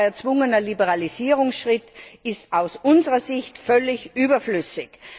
Ein weiterer erzwungener Liberalisierungsschritt ist aus unserer Sicht völlig überflüssig.